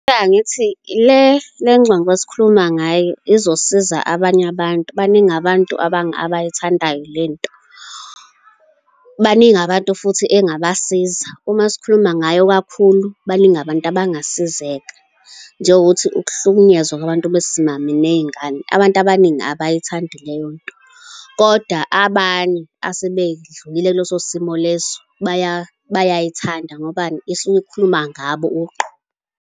ngithi, le le ngxoxo esikhuluma ngayo izosiza abanye abantu. Baningi abantu abayithandayo lento. Baningi abantu futhi engabasiza, uma sikhuluma ngayo kakhulu, baningi abantu abangasizeka, njengokuthi ukuhlukunyezwa kwabantu besimame ney'ngane, abantu abaningi abayithandi leyo nto. Koda abanye asebedlulile kuleso simo leso bayayithanda, ngobani? Isuke ikhuluma ngabo uqobo.